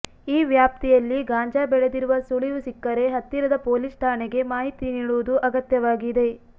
ಈ ವ್ಯಾಪ್ತಿಯಲ್ಲಿ ಗಾಂಜಾ ಬೆಳೆದಿರುವ ಸುಳಿವು ಸಿಕ್ಕರೆ ಹತ್ತಿರದ ಪೊಲೀಸ್ ಠಾಣೆಗೆ ಮಾಹಿತಿ ನೀಡುವುದು ಅಗತ್ಯವಾಗಿದೆ